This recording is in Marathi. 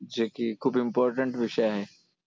जे की खूप important विषय आहे.